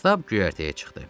Stab göyərtəyə çıxdı.